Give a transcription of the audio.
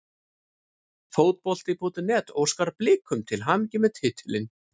Fótbolti.net óskar Blikum til hamingju með titilinn.